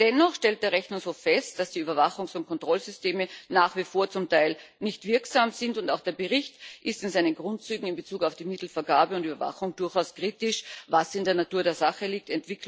Dennoch stellt der Rechnungshof fest, dass die Überwachungs und Kontrollsysteme nach wie vor zum Teil nicht wirksam sind, und auch der Bericht ist in seinen Grundzügen in Bezug auf die Mittelvergabe und Überwachung durchaus kritisch, was in der Natur der Sache liegt.